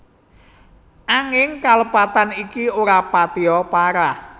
Anging kalepatan iki ora patia parah